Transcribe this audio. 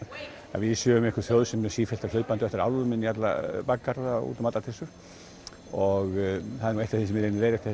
að við séum einhver þjóð sem sé sífellt hlaupandi á eftir einhverjum álfum inn í alla bakgarða og út um allar trissur og það er eitt af því sem ég leiðrétti